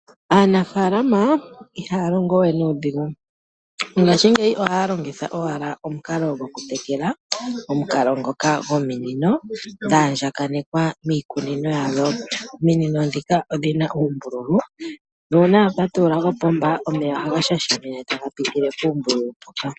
Aanafaalama iahaya longo we nuudhigu mongaashingeyi ohaya longitha owala omukalo goku tekela, omukalo ngoka gominino dha andjaganekwa miikunino yawo. Ominino ndhika odhina uumbululu nuuna wa patulula opomba, omeya ohaga shashamine taga pitile puumbululu mpoka.